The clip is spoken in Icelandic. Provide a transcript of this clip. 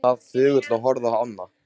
Hann sat þögull og horfði á ána.